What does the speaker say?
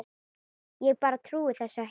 Ég bara trúði þessu ekki.